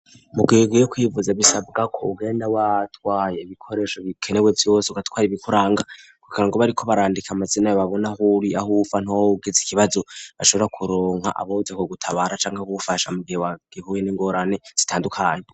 Mu gihe ugiye kwivuza bisabwa ko ugenda watwaye bikoresho bikenewe vyose ugatware ibikuranga. Kugirango bariko barandika amazina ya babona huri aho uva ntaho woba ugize ikibazo ashobora kuronka aboza ku gutabara canke bagufasha mu gihe wa gihuye n'ingorani zitandukanye.